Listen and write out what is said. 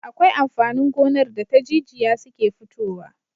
Akwai amfanin gonar da ta jijiya suke futowa